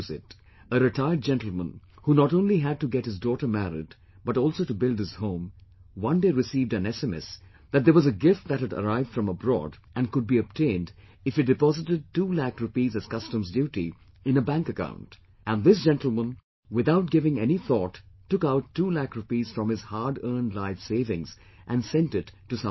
A retired gentlemen, who not only had to get his daughter married but also to build his home, one day he received an SMS, that there was a gift that had arrived from abroad and could be obtained if he deposited 2 lakh rupees as custom duty in a bank account and this gentlemen without giving any thought took out 2 lakh rupees from his hard earned life savings and sent it to some stranger